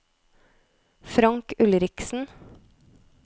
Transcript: Frank Ulriksen